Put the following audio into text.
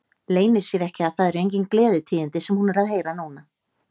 Leynir sér ekki að það eru engin gleðitíðindi sem hún er að heyra núna.